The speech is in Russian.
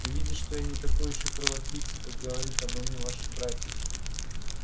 ты видишь что я не такой ещё кровопийца как говорит обо мне ваши братья